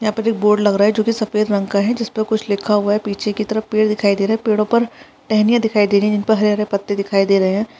यंहा पर एक बोर्ड लग रहा है जो की सफ़ेद रंग का है जिसपे कुछ लिखा हुआ है पीछे की तरफ पेड़ दिखाई दे रहे है पेड़ो पर टहनिया दिखाई दे रहे है जिनपे हरे-हरे पत्ते दिखाई दे रहे है।